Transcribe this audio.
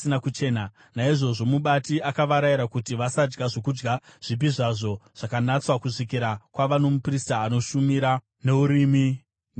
Naizvozvo mubati akavarayira kuti vasadya zvokudya zvipi zvazvo zvakanatswa kusvikira kwava nomuprista anoshumira neUrimi neTumimi.